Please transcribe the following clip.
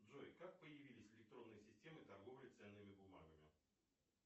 джой как появились электронные системы торговли ценными бумагами